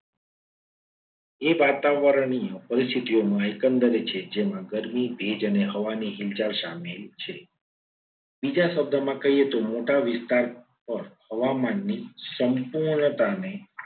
એ વાતાવરણીય પરિસ્થિતિ નો એકંદરે છે. જેમાં ગરમી ભેજ અને હવાની ઇંજા સામેલ છે. બીજા શબ્દોમાં કહીએ તો મોટા વિસ્તાર પર હવામાન ની સંપૂર્ણતાને